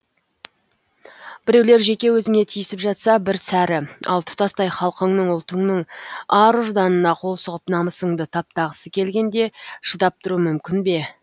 біреулер жеке өзіңе тиісіп жатса бір сәрі ал тұтастай халқыңның ұлтыңның ар ұжданына қол сұғып намысыңды таптағысы келгенде шыдап тұру мүмкін бе